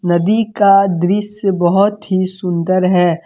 नदी का दृस्य बहोत ही सुन्दर है।